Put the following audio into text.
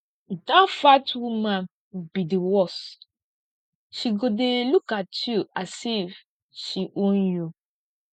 dat fat woman be the worse she go dey look at you as if she own you